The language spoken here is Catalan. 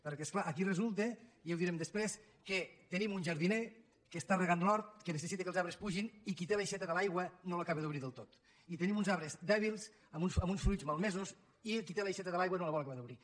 perquè és clar aquí resulta ja ho direm després que tenim un jardiner que rega l’hort que necessita que els arbres pugin i qui té l’aixeta de l’aigua no l’acaba d’obrir del tot i tenim uns arbres dèbils amb uns fruits malmesos i qui té l’aixeta de l’aigua no la vol acabar d’obrir